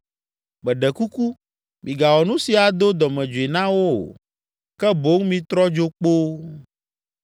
Meɖe kuku, migawɔ nu si ado dɔmedzoe na wo o, ke boŋ mitrɔ dzo kpoo!”